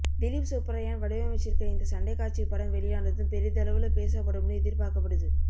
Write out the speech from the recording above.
திலீப் சுப்ராயன் வடிவமைச்சிருக்க இந்த சண்டைக்காட்சி படம் வெளியானதும் பெரிதளவுல பேசப்படும்னு எதிர்பார்க்கப்படுது